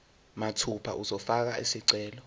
mathupha uzofaka isicelo